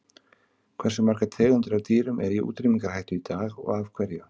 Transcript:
Hversu margar tegundir af dýrum eru í útrýmingarhættu í dag og af hverju?